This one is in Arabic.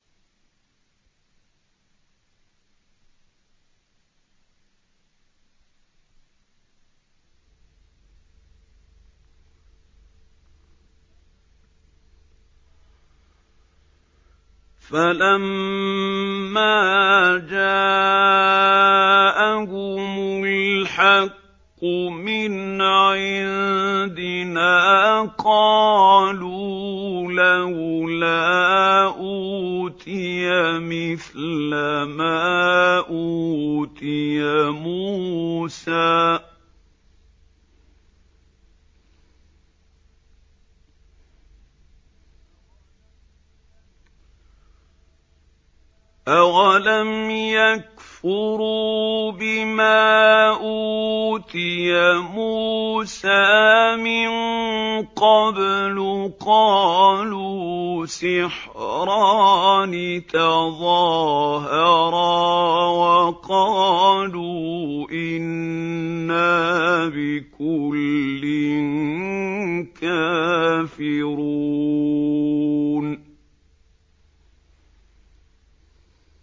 فَلَمَّا جَاءَهُمُ الْحَقُّ مِنْ عِندِنَا قَالُوا لَوْلَا أُوتِيَ مِثْلَ مَا أُوتِيَ مُوسَىٰ ۚ أَوَلَمْ يَكْفُرُوا بِمَا أُوتِيَ مُوسَىٰ مِن قَبْلُ ۖ قَالُوا سِحْرَانِ تَظَاهَرَا وَقَالُوا إِنَّا بِكُلٍّ كَافِرُونَ